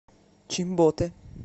чимботе